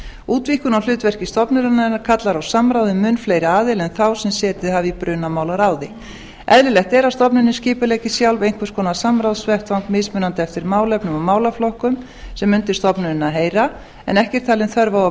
útvíkkun á hlutverki stofnunarinnar kallar á samráð við mun fleiri aðila en þá sem setið hafa í brunamálaráði eðlilegt er að stofnunin skipuleggi sjálf einhvers konar samráðsvettvang mismunandi eftir málefnum og málaflokkum sem undir stofnunina heyra en ekki er talin þörf á að